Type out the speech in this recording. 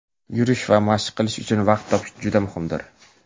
yurish va mashq qilish uchun vaqt topish juda muhimdir.